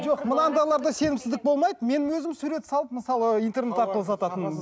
жоқ мынандайларда сенімсіздік болмайды мен өзім сурет салып мысалы интернет арқылы сататынмын